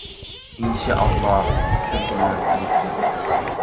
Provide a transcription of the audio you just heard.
Inshoolloh shu kunlarga yetkazsin.